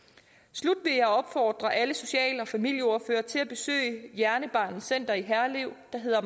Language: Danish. slut vil jeg opfordre alle social og familieordførere til at besøge hjernebarnets center i herlev der hedder